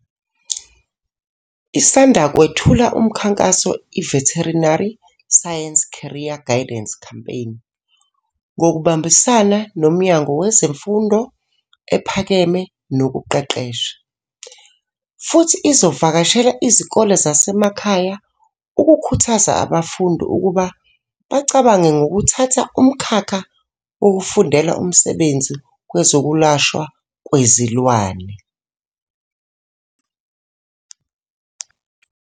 Isanda kwethula uMkhakhanso iVeterinary Science Career Guidance Campaign, ngokubambisana noMnyango Wezemfundo Ephakeme Nokuqeqesha, futhi izovakashela izikole zasemakhaya ukukhuthaza abafundi ukuba bacabange ngokuthatha umkhakha wokufundela umsebenzi wezokwelashwa kwezilwane.